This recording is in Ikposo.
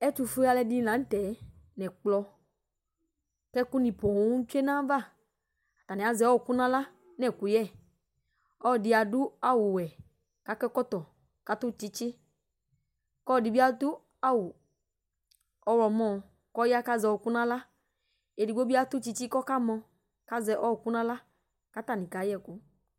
Ɛtufue aluɛdini la nu tɛ ɛkplɔ ku ɛku ni poo tsue nayava atani azɛ ɔku nala nu ɛkuyɛ ɔlɔdi adu awu wɛ ku akɔ ɛkɔtɔ atu tsitsi ku ɔlɔdi bi adu awu ɔɣlɔmɔ ku aya ku azɛ ɔku nala ɛdibi atu tsitsi ku ɔkamɔ azɛ ɔku nala katani kayɛ ɛku